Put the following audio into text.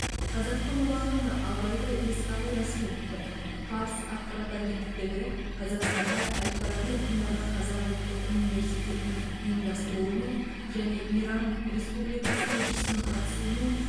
қазақтың ұлы ақыны абайды еске алу рәсімі өтті фарс ақпарат агенттігі қазақстанда әл фараби атындағы қазақ ұлттық университетінің ұйымдастыруымен және иран республикасы елшісінің қатысуымен